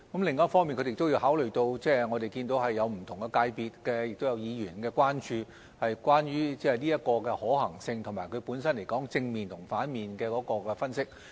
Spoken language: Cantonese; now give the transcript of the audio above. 另一方面，積金局也要考慮到不同界別和議員的關注、這項建議的可行性，以及其本身正面與反面的分析。